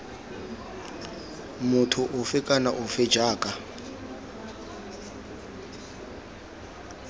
motho ofe kana ofe jaaka